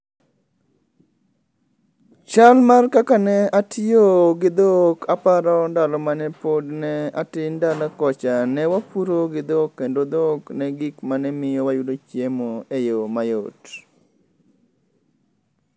Chal mar kaka ne atiyo gi dhok aparo ndalo mane pod ne atin dala kocha ne wapuro gi dhok kendo dhok ne gik mane wayudo chiemo e yo mayot